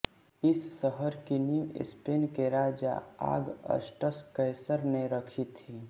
इस शहर की नीव स्पेन के राजा आगस्टस कैसर ने रखी थी